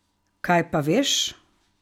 Kaj pa veš?